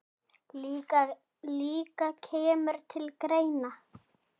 líka kemur til greina.